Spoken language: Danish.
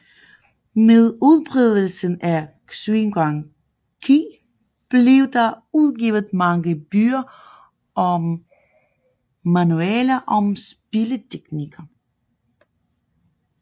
Med udbredelsen af xiangqi blev der udgivet mange bøger og manualer om spilteknikker